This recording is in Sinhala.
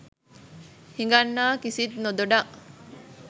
හිඟන්නා කිසිත් නොදොඩා